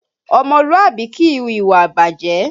Ọmọlúàbí kìí hu ìwà ìbàjẹ́